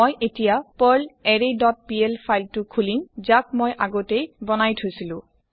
মই এতিয়া পাৰ্লাৰৰে ডট পিএল ফাইল টো খুলিম যাক মই আগতেই বনাই থৈছিলো